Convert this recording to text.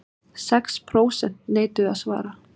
Sex prósent neituðu að svara